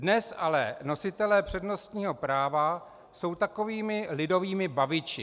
Dnes ale nositelé přednostního práva jsou takovými lidovými baviči.